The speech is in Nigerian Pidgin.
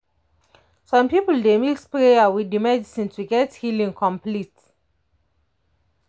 some people dey mix prayer with with medicine to get healing complete.